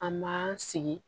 An m'an sigi